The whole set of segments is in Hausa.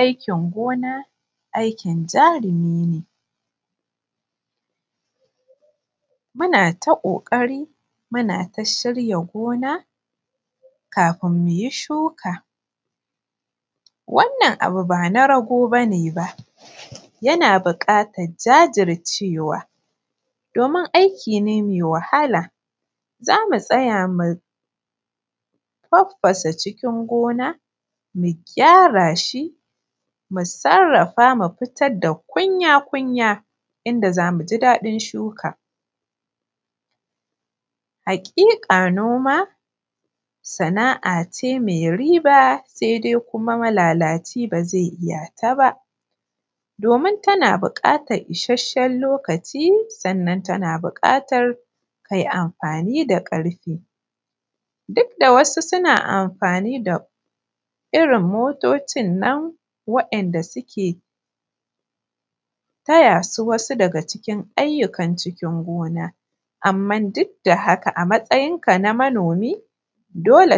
Aikin gona aikin jarumi ne muna ta kokari muna shirya gona kafin muyi shuka wannan abu ban a rago bane ba yana bukatan jajircewa domin aiki ne mai wahala za mu tsaya mu babbaza cikin gona, mu gyara shi mu sarrafa mu fitar da kunya yadda za mu ji dadin shuka. Hakika noma sana’a ce mai riba sai dai kuma malalaci ba zai iya ta ba domin tana bukatan isasshen lokaci sannan kuma tana bukatar a yi amfani da karfi, wasu suna amfani da manya motocin nan da suke taya su. Wasu daga cikin ayyukan cikin gona amma duk da haka a matsayin ka na manomi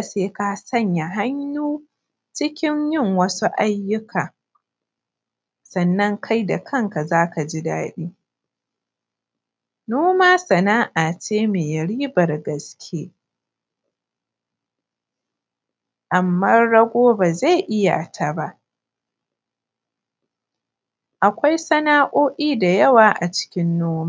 sai ka sanya hannun ka cikin yin wasu ayyuka sannan kai da kan ka za ka ji dadi noma sana’a ce mai ribar gaske amma rago ba zai iya ta ba akwai sana’a’o’I da yawa a cikin noma.